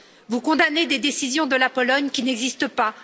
Vous condamnez des décisions de la Pologne qui n'existent pas.